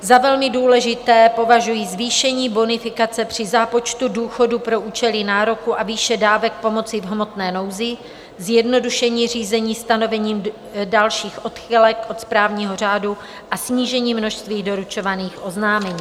Za velmi důležité považuji zvýšení bonifikace při zápočtu důchodu pro účely nároku a výše dávek pomoci v hmotné nouzi, zjednodušení řízení stanovením dalších odchylek od správního řádu a snížení množství doručovaných oznámení.